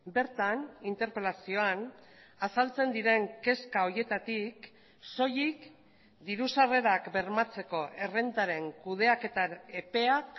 bertan interpelazioan azaltzen diren kezka horietatik soilik diru sarrerak bermatzeko errentaren kudeaketa epeak